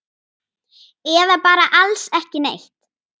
Eða bara alls ekki neitt?